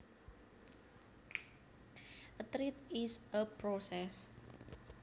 A thread is a process